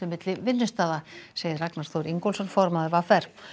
milli vinnustaða segir Ragnar Þór Ingólfsson formaður v r